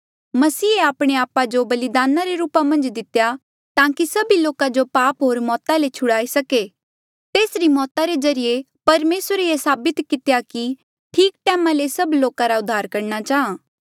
मसीहे आपणे आपा जो बलिदान रे रूपा मन्झ देई दितेया ताकि सभी लोका जो पाप होर मौता ले छुड़ाई सके तेसरी मौता रे ज्रीए परमेसरे ये साबित कितेया कि ठीक टैमा ले से सब लोका रा उद्धार करणा चाहां